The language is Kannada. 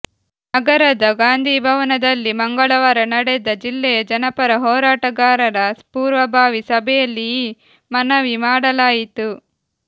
ನಗರದ ಗಾಂಧಿಭವನದಲ್ಲಿ ಮಂಗಳವಾರ ನಡೆದ ಜಿಲ್ಲೆಯ ಜನಪರ ಹೋರಾಟಗಾರರ ಪೂರ್ವಭಾವಿ ಸಭೆಯಲ್ಲಿ ಈ ಮನವಿ ಮಾಡಲಾಯಿತು